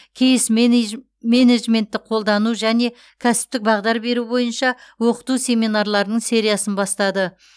кейс менеджментті қолдану және кәсіптік бағдар беру бойынша оқыту семинарларының сериясын бастады